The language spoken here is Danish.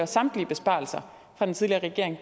samtlige besparelser fra den tidligere regering